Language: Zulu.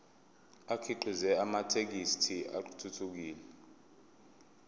akhiqize amathekisthi athuthukile